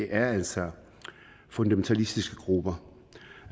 er altså fundamentalistiske grupper